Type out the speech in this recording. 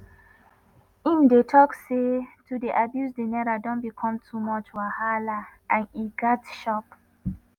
im dey tok say to dey abuse di naira don become too much wahala and e gatz stop.